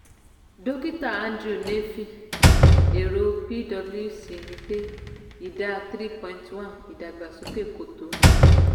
dókítà andrew nevin èrò pwc ni pé ìdá three point one ìdàgbàsókè kò tó